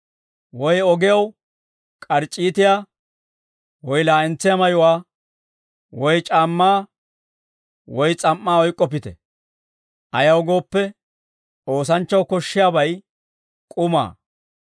woy ogew k'arc'c'iitiyaa, woy laa'entsiyaa mayuwaa, woy c'aammaa woy s'am"aa oyk'k'oppite. Ayaw gooppe, oosanchchaw koshshiyaabay k'umaa.